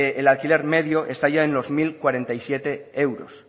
el alquiler medio está ya en los mil cuarenta y siete euros